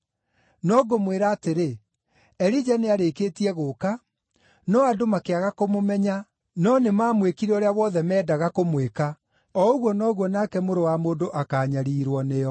No ngũmwĩra atĩrĩ, Elija nĩarĩkĩtie gũũka, no andũ makĩaga kũmũmenya, no nĩmamwĩkire ũrĩa wothe meendaga kũmwĩka. O ũguo noguo nake Mũrũ wa Mũndũ akaanyariirwo nĩo.”